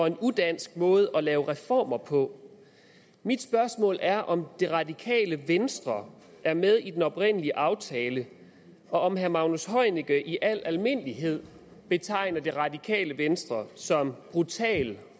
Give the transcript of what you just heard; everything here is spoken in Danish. en udansk måde at lave reformer på mit spørgsmål er om det radikale venstre er med i den oprindelige aftale og om herre magnus heunicke i al almindelighed betegner det radikale venstre som brutal